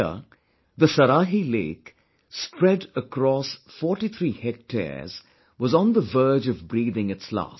Here, the Saraahi Lake, spread across 43 hectares was on the verge of breathing its last